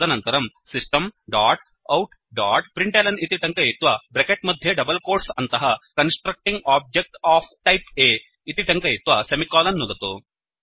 तदनन्तरं system dot out dot println इति टङ्कयित्वा ब्रेकेट् मध्ये डबल् कोट्स् अन्तः constructing object of type A इति टङ्कयित्वा सेमिकोलन् नुदतु